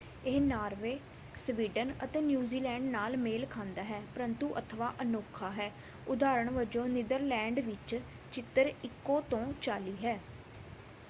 ਇਹ Norway Sweden ਅਤੇ New Zealand ਨਾਲ ਮੇਲ ਖਾਂਦਾ ਹੈ ਪਰੰਤੂ ਅਥਵਾਂ ਅਨੋਖਾ ਹੈ ਉਦਾਹਰਨ ਵੱਜੋਂ ਨੀਦਰਲੈਂਡ ਵਿੱਚ ਚਿੱਤਰ ਇਕੋ ਤੋਂ ਚਾਲੀ ਹੈ।